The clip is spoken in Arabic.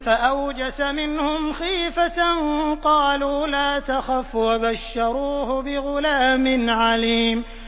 فَأَوْجَسَ مِنْهُمْ خِيفَةً ۖ قَالُوا لَا تَخَفْ ۖ وَبَشَّرُوهُ بِغُلَامٍ عَلِيمٍ